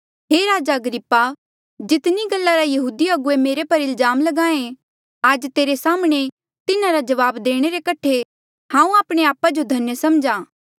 हे राजा अग्रिप्पा जितनी गल्ला रा यहूदी अगुवे मुंजो पर इल्जाम ल्गाहें आज तेरे साम्हणें तिन्हारा जवाब देणे रे कठे हांऊँ आपणे आपा जो धन्य सम्झहा